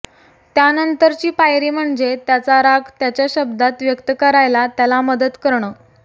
त्यानंतरची पायरी म्हणजे त्याचा राग त्याच्या शब्दांत व्यक्त करायला त्याला मदत करणं